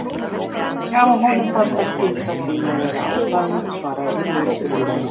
Já, honum fannst það skylda sín að vera á staðnum- svaraði Urður þurrlega.